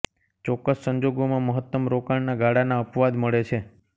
ચોક્કસ સંજોગોમાં મહત્તમ રોકાણના ગાળાના અપવાદ મળે છે